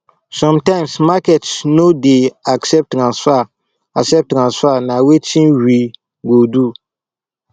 sometimes market no dey accept transfer accept transfer na wetin we go do